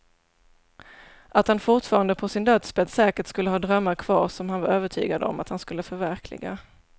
Att han fortfarande på sin dödsbädd säkert skulle ha drömmar kvar som han var övertygad om att han skulle förverkliga.